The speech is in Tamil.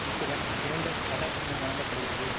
இத்துடன் கிரைடெட் அட்டாச்மென்ட் வழங்க படிகிறது